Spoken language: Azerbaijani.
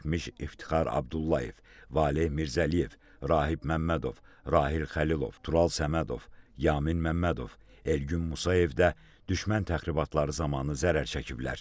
Zərər çəkmiş İftixar Abdullayev, Valeh Mirzəliyev, Rahib Məmmədov, Rahil Xəlilov, Tural Səmədov, Yamin Məmmədov, Elgün Musayev də düşmən təxribatları zamanı zərər çəkiblər.